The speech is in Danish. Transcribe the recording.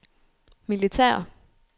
militære